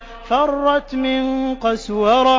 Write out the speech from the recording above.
فَرَّتْ مِن قَسْوَرَةٍ